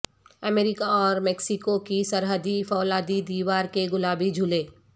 امریکہ اور میکسیکو کی سرحدی فولادی دیوار کے گلابی جھولے